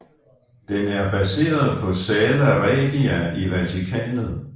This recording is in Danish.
Den er baseret på Sala Regia i Vatikanet